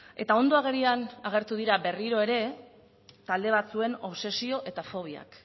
eta ondo agerian agertu dira berriro ere talde batzuen obsesio eta fobiak